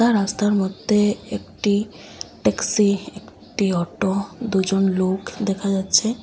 রাস্তার মধ্যে একটি ট্যাক্সি একটি অটো দুজন লোক দেখা যাচ্ছে।